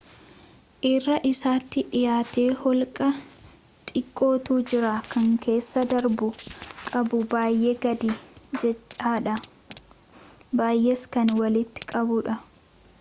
irra isaatti dhiyaatee holqa xiqqootu jira kan keessa darbamu qabu baayee gadi jedhadha baayees kan walitti qabudha